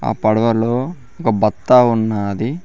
ఆ పడవలో ఒక బత్తా ఉన్నాది.